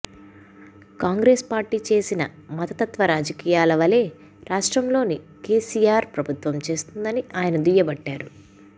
Congress party చేసిన మతతత్వ రాజకీయాల వలే రాష్ట్రంలోని కేసీ ఆర్ ప్రభుత్వం చేస్తుందని ఆయన దుయ్యబట్టారు